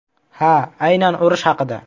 Ha, aynan urush haqida.